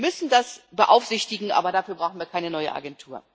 Wir müssen das beaufsichtigen, aber dafür brauchen wir keine neue Agentur.